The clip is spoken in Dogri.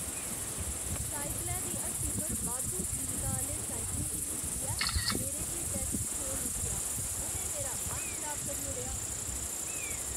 साइकलें दी हट्टी पर बाद्धू कीमता आह्‌ले साइकलें गी दिक्खियै मेरे ढिड्डै च छोल उट्ठेआ। उ'नें मेरा मन खराब करी ओड़ेआ।